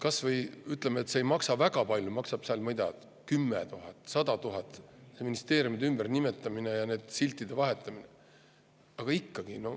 Isegi kui see ei maksa väga palju, maksab seal, ma ei tea, 10 000 või 100 000, ministeeriumide ümbernimetamine ja siltide vahetamine, aga ikkagi.